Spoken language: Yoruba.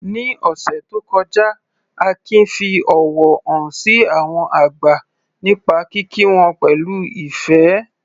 Ní ọ̀sẹ̀ tó kọjá, Akin fi ọ̀wọ̀ hàn sí àwọn àgbà nípa kíkí wọn pẹ̀lú ìfẹ́.